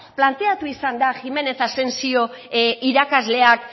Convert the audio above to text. planteatu izan da jiménez asensio irakasleak